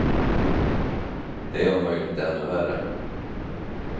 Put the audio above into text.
De är om möjligt ännu värre.